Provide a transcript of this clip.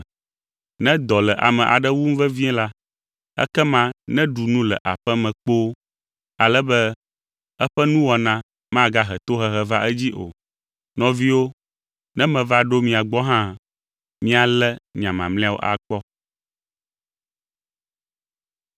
Ne dɔ le ame aɖe wum vevie la, ekema neɖu nu le aƒe me kpoo, ale be eƒe nuwɔna magahe tohehe va edzii o. Nɔviwo, ne meva ɖo mia gbɔ hã, míalé nya mamlɛawo akpɔ.